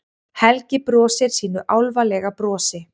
Helgi brosir sínu álfalega brosi.